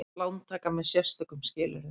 Lántaka með sérstökum skilyrðum.